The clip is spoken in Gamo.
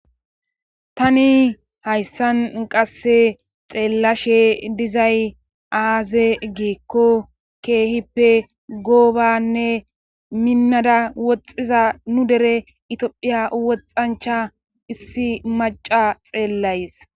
tani hayssan qasse xeellashe dizay aaze giikko keehippe goobanne minnada woxxiza nu dere itphiya woxxancha issi maca xeellays